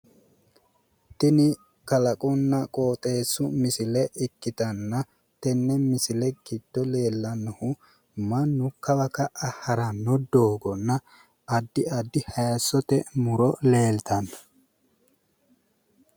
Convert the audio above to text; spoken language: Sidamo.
Tini kalaqunna qooxeessu misile ikkitanna tenne misile giddo leellannohu mannu kawa ka"a haranno doogonna addi addi haayiissote muro leeltanno.